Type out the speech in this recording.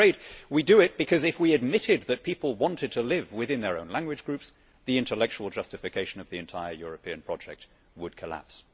I am afraid we do it because, if we admitted that people want to live within their own language groups, the intellectual justification of the entire European project would collapse.